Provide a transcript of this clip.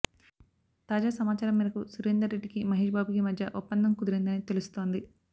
తాజా సమాచారం మేరకు సురేందర్ రెడ్డికి మహేష్ బాబుకి మధ్య ఒప్పదం కుదిరిందని తెలుస్తోంది